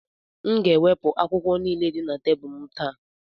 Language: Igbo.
M ga-ewepụ akwụkwọ niile dị na tebụl m taa.